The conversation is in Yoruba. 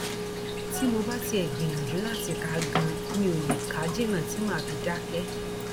tí mo bá tiẹ gbìyànjú láti kà á ganan mi ó lè kà á jìnnà tí mà á fi dákẹ